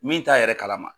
Min t'a yɛrɛ kalama